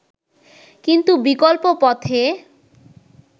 কিন্তু বিকল্প পথে